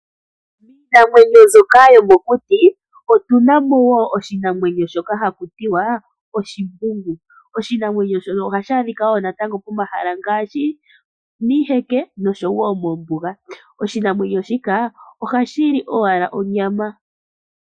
Miinamwenyo mbyoka yomokuti, otu na mo wo oshinamwenyo shoka haku tiwa oshimbungu. Oshinamwenyo shono oha shi adhikwa wo natango pomahala ngaashi miiheke, nosho wo moombuga. Oshinamwenyo shika oha shi li owala onyama